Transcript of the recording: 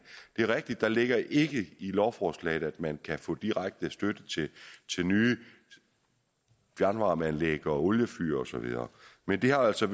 er rigtigt at der ikke ligger i lovforslaget at man kan få direkte støtte til nye fjernvarmeanlæg oliefyr og så videre men det har altså